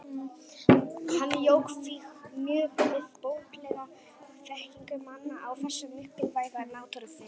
Hann jók því mjög við bóklega þekkingu manna á þessu mikilvæga náttúrufyrirbæri.